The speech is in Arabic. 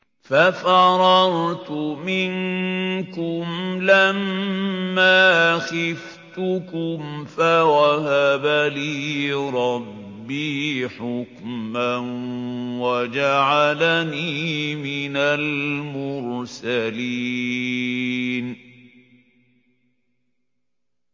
فَفَرَرْتُ مِنكُمْ لَمَّا خِفْتُكُمْ فَوَهَبَ لِي رَبِّي حُكْمًا وَجَعَلَنِي مِنَ الْمُرْسَلِينَ